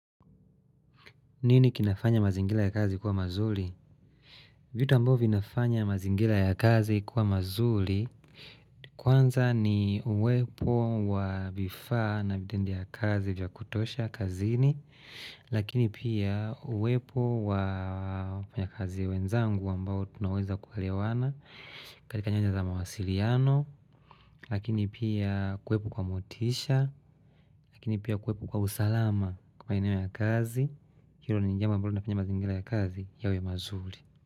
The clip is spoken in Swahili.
Nini kinafanya mazingila ya kazi kuwa mazuri? Vitu ambayo vinafanya mazingira ya kazi kuwa mazuri kwanza ni uwepo wa vifaa na vitendea kazi vya kutosha kazini lakini pia uwepo wa wafanyikazi wenzangu ambao tunawenza kuelewana katika nyanja za mawasiliano lakini pia kuwepo kwa motisha lakini pia kwepo kwa usalama kwa eneo la kazi Hilo ni jambo ambalo linafanya mazingira ya kazi yawe mazuri.